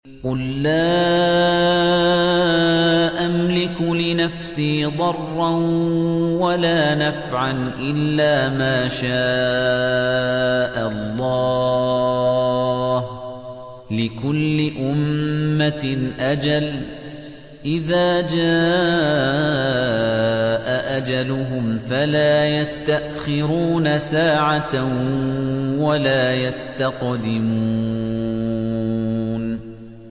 قُل لَّا أَمْلِكُ لِنَفْسِي ضَرًّا وَلَا نَفْعًا إِلَّا مَا شَاءَ اللَّهُ ۗ لِكُلِّ أُمَّةٍ أَجَلٌ ۚ إِذَا جَاءَ أَجَلُهُمْ فَلَا يَسْتَأْخِرُونَ سَاعَةً ۖ وَلَا يَسْتَقْدِمُونَ